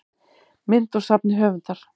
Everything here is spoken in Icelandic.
mynd úr safni höfundar